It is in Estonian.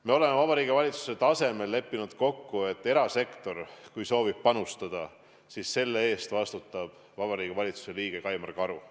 Me oleme Vabariigi Valitsuse tasemel leppinud kokku, et kui erasektor soovib panustada, siis selle eest vastutab Vabariigi Valitsuse liige Kaimar Karu.